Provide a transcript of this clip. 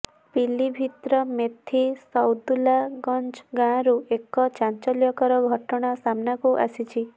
ପିଲିଭୀତର ମେଥୀ ସୈଦୁଲ୍ଲାଗଞ୍ଜ ଗାଁରୁ ଏକ ଚାଞ୍ଚଲ୍ୟକର ଘଟଣା ସାମନାକୁ ଆସିଛି